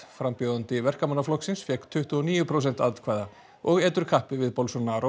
frambjóðandi Verkamannaflokksins fékk tuttugu og níu prósent atkvæða og etur kappi við